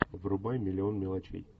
врубай миллион мелочей